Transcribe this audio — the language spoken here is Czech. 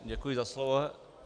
Děkuji za slovo.